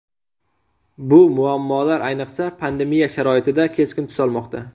Bu muammolar ayniqsa pandemiya sharoitida keskin tus olmoqda.